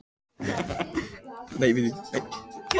Koma hans er hvalreki á fjörur Eskifjarðar þar sem hann rak á land.